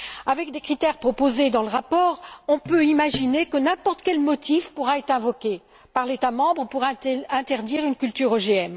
Avec les critères proposés dans le rapport, on peut imaginer que n'importe quel motif pourra être invoqué par l'État membre pour interdire une culture OGM.